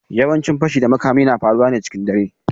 Yawancin fashi da makami na faruwa ne cikin dare.